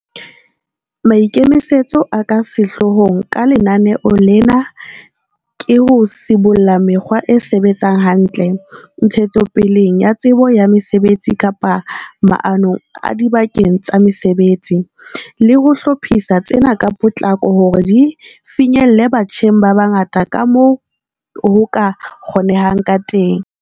Maikemisetso a ka sehloohong ka lenaneo lena ke ho sibolla mekgwa e sebetsang hantle, ntshetsopeleng ya tsebo ya mesebetsi kapa maanong adibakeng tsa mosebetsi, le ho hlophisa tsena ka potlako hore di finyelle batjheng ba bangata kamoo ho ka kgonehang ka teng.